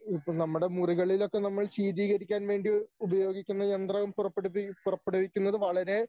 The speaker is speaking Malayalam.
നമ്മുടെ മുറികളിൽ ഒക്കെ നമ്മൾ ശീകരിക്കാൻകരിക്കാൻ വേണ്ടി ഉപയോഗിക്കുന്ന യന്ത്രം പുറപ്പെടുവി പുറപ്പെടുവിക്കുന്നത് വളരെ